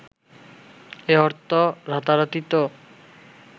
এ অর্থ রাতারাতি তো